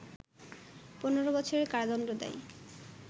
১৫ বছরের কারাদণ্ড দেয়